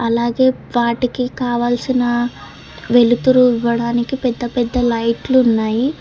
అలాగే వాటికి కావాల్సిన వెలుతురు ఇవ్వడానికి పెద్ద పెద్ద లైట్లు ఉన్నాయి.